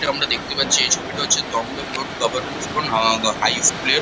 এটা আমরা দেখতে পাচ্ছি এই ছবিটা হচ্ছে Dum Dum gov government school high school এর।